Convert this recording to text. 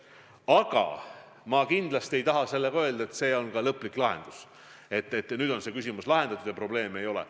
Aga ma kindlasti ei taha sellega öelda, et see on lõplik lahendus, et nüüd on see küsimus lahendatud ja probleemi ei ole.